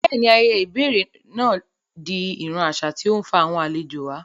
Bẹ́ẹ̀ni, ayẹyẹ ìbẹ̀rẹ̀ náà di ìran àṣà tí ó ń fa àwọn àlejò wá